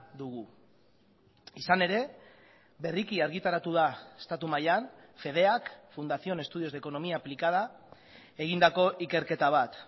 dugu izan ere berriki argitaratu da estatu mailan fedeak fundación de estudios de economía aplicada egindako ikerketa bat